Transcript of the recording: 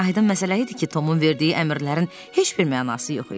Aydın məsələ idi ki, Tomun verdiyi əmrlərin heç bir mənası yox idi.